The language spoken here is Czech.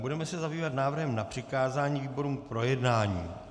Budeme se zabývat návrhem na přikázání výborům k projednání.